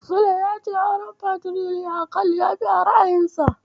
Sule ya ce auren Fatiriyakal yafi a ra'ayinsa.